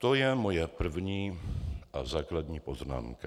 To je moje první a základní poznámka.